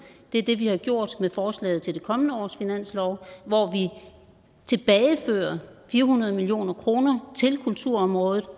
det er det vi har gjort med forslaget til det kommende års finanslov hvor vi tilbagefører fire hundrede million kroner til kulturområdet